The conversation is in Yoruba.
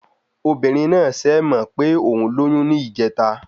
Ọmọbìnrin náà sẹ̀ mọ̀ pé òún lóyún ní ìjèta